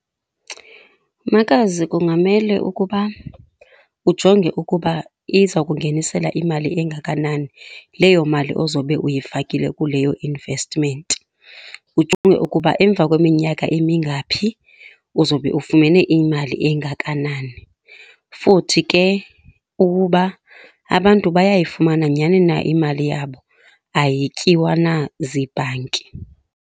Makazi, kungamele ukuba ujonge ukuba izokungenisela imali engakanani leyo mali ozobe uyifakile kuleyo investment. Ujonge ukuba emva kweminyaka emingaphi uzobe ufumene imali engakanani, futhi ke uba abantu bayayifumana nyani na imali yabo ayityiwa na ziibhanki.